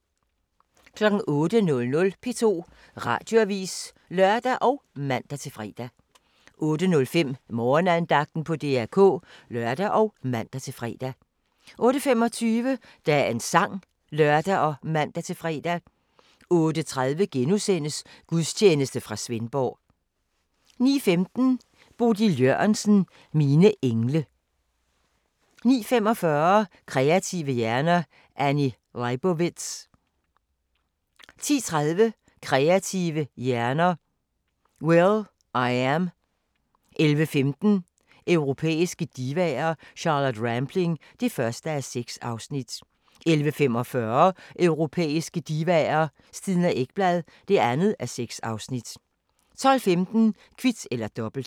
08:00: P2 Radioavis (lør og man-fre) 08:05: Morgenandagten på DR K (lør og man-fre) 08:25: Dagens sang (lør og man-fre) 08:30: Gudstjeneste fra Svendborg * 09:15: Bodil Jørgensen – Mine engle 09:45: Kreative hjerner: Annie Leibovitz 10:30: Kreative hjerner: will.i.am 11:15: Europæiske divaer – Charlotte Rampling (1:6) 11:45: Europæiske divaer: Stina Ekblad (2:6) 12:15: Kvit eller Dobbelt